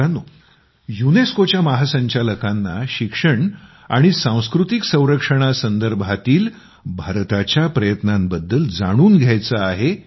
मित्रांनो युनेस्कोच्या महासंचालकांना शिक्षण आणि सांस्कृतिक संरक्षणा संदर्भातील भारताच्या प्रयत्नांबद्दल जाणून घ्यायचे आहे